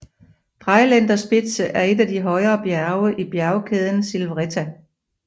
Dreiländerspitze er et af de højere bjerge i bjergkæden Silvretta